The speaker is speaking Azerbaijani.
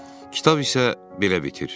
Kitab isə belə bitir: